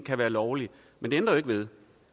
kan være lovlig men det ændrer jo ikke ved